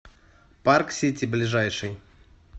парк сити ближайший